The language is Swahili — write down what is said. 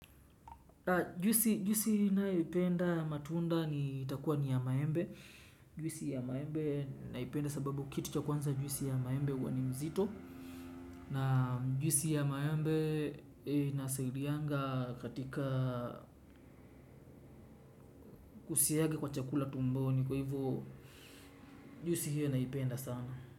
Juisi ninayoipenda matunda ni itakuwa ni ya maembe. Juisi ya maembe naipenda sababu kitu cha kwanza juisi ya maembe huwa ni mzito. Na juisi ya maembe inasaidianga katika kusiaga kwa chakula tumboni kwa hivyo. Juisi hiyo naipenda sana.